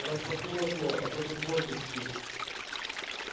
распахнул окно а то тут воздух скис